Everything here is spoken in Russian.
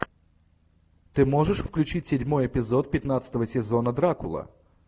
ты можешь включить седьмой эпизод пятнадцатого сезона дракула